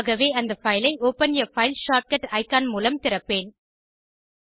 ஆகவே அந்த பைல் ஐ ஒப்பன் ஆ பைல் ஷார்ட்கட் இக்கான் மூலம் திறப்பேன்